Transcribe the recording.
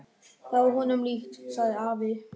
Það var honum líkt, sagði afi.